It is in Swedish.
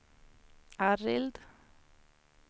Arild